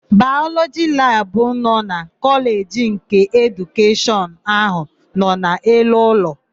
Bayọlọjị labụ nọ na Kọleji nke Edukeshọn áhụ̀ nọ n'elu ụlọ.